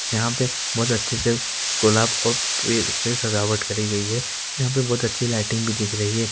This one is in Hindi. यहां पे बहुत अच्छे से गुलाब को प_ से सजावट करी गई है यहाँ पे बहुत अच्छी से लाइटिंग भी की गई है ।